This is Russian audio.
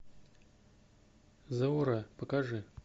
заура покажи